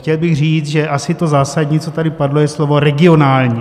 Chtěl bych říct, že asi to zásadní, co tady padlo, je slovo regionální.